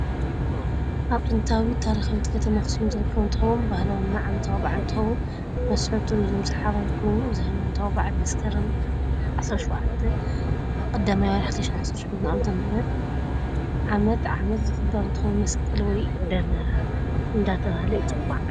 አብ ጥንታዊት ታሪካዊት ከተማ አክሱም ዝርከብ አንትከውን ባህላዉና ዓመታዊ ባዓል እንትከውን ንመስብ ቱርዝ ሳሓባይ ኳይኑ እዚ ሃይማናታዊ በዓል መስከረም 17/01/2018 ዓ/ም ዓመት ዓመት ዝክበር እንትከውን መስቀል ወይ ዳመራ እዳተባሃለ ይፂዋዒ።